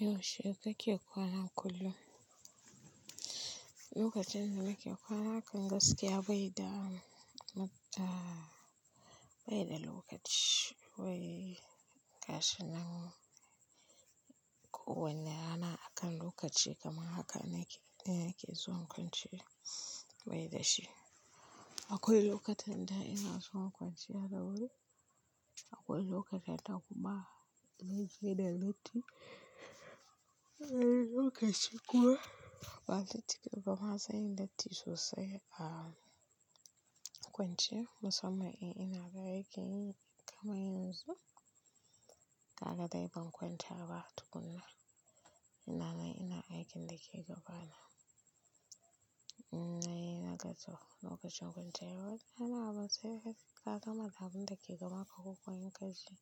Yaushe kake kwana kullum? Lokacin da nake kwana akan gaskiya bai da, bai da lokaci. Wai ga shi nan kowane rana akan lokaci kama haka na yake, na yake zuwa kwanciya bai da shi. Akwai lokutan da ina son kwanciya dawuri, akwai lokutan da kuma ni ji da bacci. Wanii lokaci kuma ba bacci ba, amma zan yi bacci sosai a kwanciya. Musamman in ina gayyakin kamar yanzu, ka ga dai ban kwanta ba tukuna. Ina nan ina aikin da ke gabana. Na yi na kasa lokacin kwanciya, wajena abin sai ka. Ka ga ma abin da ke gabanka ko ka yi kashi.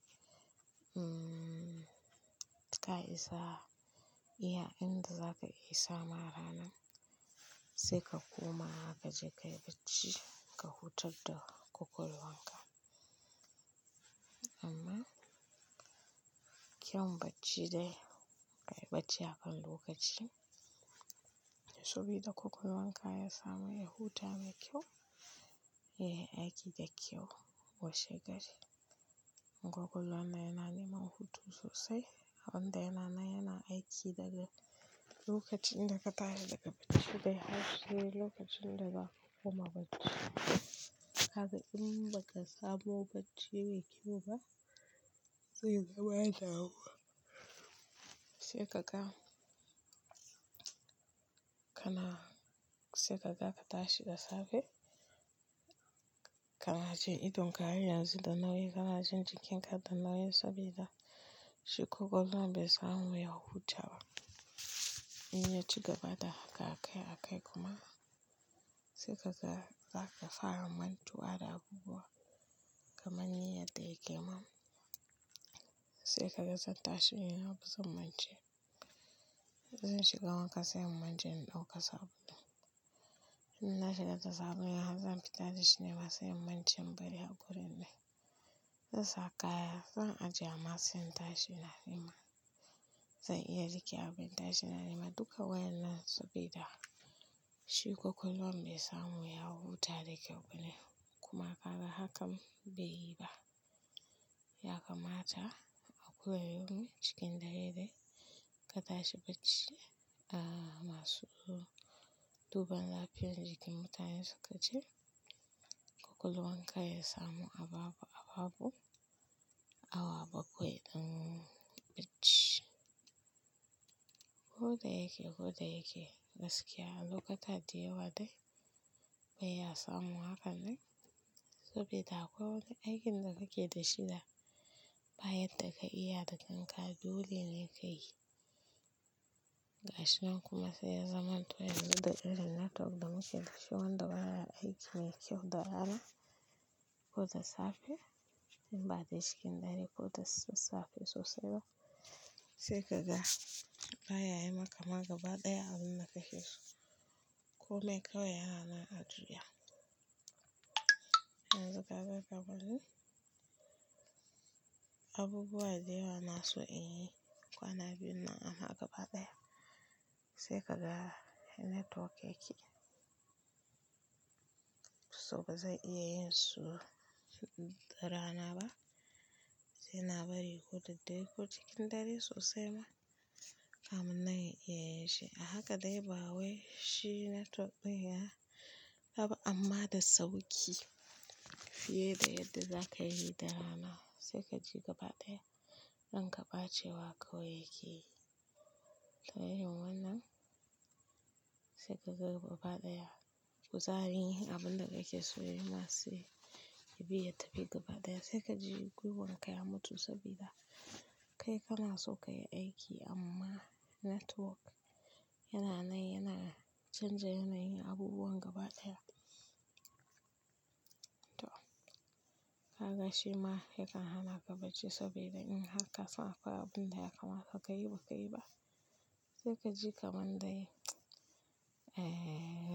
Ta isa iya abin da za ka isa ma rana sai ka koma haka, ka je ka yi bacci, ka huta da kukun wanka. Amma kyau bacci dai, bai bacci akan lokaci sabida kukun wanka ya samu ya huta da kyau, ya yi aiki da kyau washe gari. Ko kullum ne yana neman hutu sosai, abin da yana nan yana aiki daga lokacin da ka tare daga bacci dai har sai lokacin da za ka koma bacci. Kaga in ba ka samu bacci mai kyau ba, zai zama ya dawo. Sai ka ga kana, sai ka ga ka tashi da safe kanaji idonka har yanzu da nauyi, kanaji jikinka da nauyi sabida shi ƙwaƙwal wan bai samu ya huta ba. In ya ci gaba da haka kai a kai kuma, sai kasa ka fara mantuwa da abubuwa kamar ni yadda yake mam. Sai ka ga zan tashi ina busa mace. Zan shiga wanka sai in mance in dauka sabulun in na shiga tasha zan fita dashi ne sai mun wanke bari a gurin nan. Zan saka kaya, zan ajiye amma se in tashi na nema. Zan iya rike abu in tashi ina nema duka wayanan sabida shi kwakwalwan bai samu ya huta da kyau bane. Kuma kaga hakan bai yi ba. Ya kamata a kullum yomi cikin dare dai ka tashi bacci. Masu duban lafiyar jikin mutane suka ce kwakwalwanka ya samu ababu ababu awa bakwai ɗin bacci. Ko dayake, ko dayake gaskiya lokuta da yawa dai bai ya samu hanka nan sabida akwai wane aikin da kake da shi da bayadda ka iya da kanka dole ne ka yi. Gashi nan kuma sai ya zaman to yanxu da irin da network da muke da shi wanda baya aiki ne kyau da rana ko da safe in ba dai cikin dare ko da safe sosai ba. Sai ka ga baya yi maka magaba ɗaya abin dakake so. Komai kawai yana ma ajiya. Yanzu kaga kamar ni abubuwa da yawa inaso in yi kwana biyu nan amma gaba ɗaya. Sai ka ga network yake so bazan iya yin su da rana ba. Sai na bari ko daddarei ko cikin dare sosai ma. Kafin nan in iya yinshi. A haka dai ba wai shi network ɗin ya raba amma da sauƙi fiye da yadda za ka yi da rana. Sai ka ji gaba ɗaya an ranka ɓacewa kawai yake yi. Ta hanyar wannan sai ka ga gaba ɗaya kuzari abin da kake so yana siyi ya biya ta bi gaba ɗaya. Sai ka ji gwiwan ka ya mutu sabida kai kana so ka yi aiki amma network yana nan yana canja yana yin abubuwan gaba ɗaya. To kaga shima yakan hanaka bacci saboda in haka sai akwai abin da ya kamata ka yi ba ka yi ba. Sai ka ji kamar dai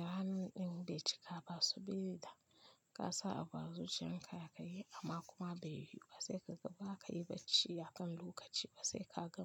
ranan ɗin bai cika ba sabida kasa abu azuciyarka zakayi amma kuma bai yiwu ba. Sai kaga baka yi bacci akan lokaci ba sai ka gama.